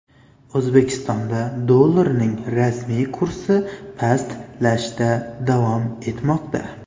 O‘zbekistonda dollarning rasmiy kursi pastlashda davom etmoqda.